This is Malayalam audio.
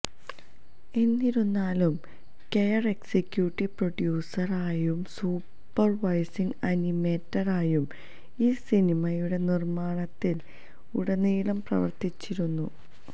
എന്നിരുന്നാലും കെയ്ൻ എക്സിക്യൂട്ടീവ് പ്രൊഡ്യൂസർ ആയും സൂപ്പർവൈസിങ് അനിമേറ്റർ ആയും ഈ സിനിമയുടെ നിർമ്മാണത്തിൽ ഉടനീളം പ്രവർത്തിച്ചിരുന്നു